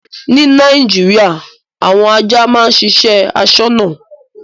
Ní Nàìjíríà àwọn ajá máa ń ṣiṣẹ́ aṣọ́nà.